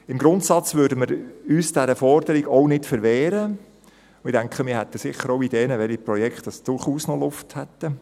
Im Grundsatz würden wir uns dieser Forderung nicht verwehren, und ich denke, wir hätten sicher auch Ideen, welche Projekte durchaus noch Luft hätten;